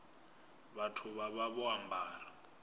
vhathu vha vha vho ambara